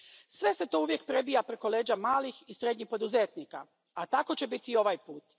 Sve se to uvijek prebija preko leđa malih i srednjih poduzetnika, a tako će biti i ovaj put.